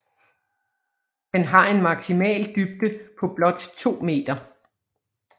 Den har en maksimal dybde på blot 2 meter